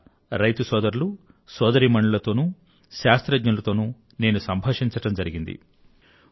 అక్కడ రైతు సోదరులు సోదరీమణులతోనూ శాస్త్రజ్ఞులతోనూ నేను సంభాషించడం జరిగింది